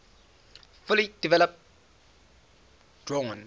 fully developed drawn